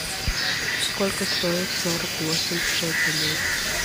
сколько стоит сорок восемь шекелей